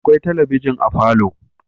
Akwai talabijin a falo